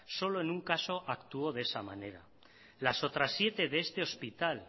solo en un caso actuó de esa manera las otras siete de este hospital